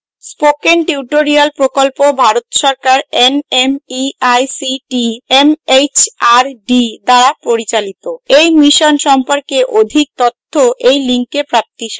spoken tutorial প্রকল্প ভারত সরকারের nmeict mhrd দ্বারা পরিচালিত এই mission সম্পর্কে অধিক তথ্য এই link প্রাপ্তিসাধ্য